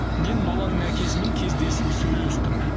мен баланың әкесімен кездесіп сөйлестім